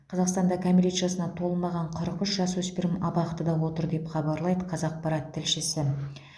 қазақстанда кәмелет жасына толмаған қырық үш жасөспірім абақтыда отыр деп хабарлайды қазақпарат тілшісі